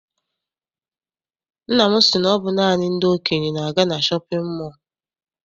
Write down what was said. Nna m si na ọ bụ naanị ndị okenye na-aga na shọpịn mọọ.